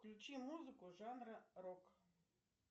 включи музыку жанра рок